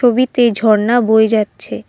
ছবিতে ঝর্ণা বয়ে যাচ্ছে।